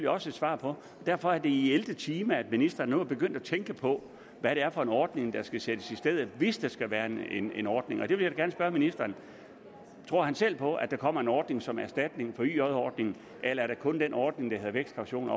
også et svar på derfor er det i ellevte time at ministeren nu er begyndt at tænke på hvad det er for en ordning der skal sættes i stedet hvis der skal være en en ordning jeg vil da gerne spørge ministeren tror han selv på at der kommer en ordning som erstatning for yj låneordningen eller er der kun den ordning der hedder vækstkaution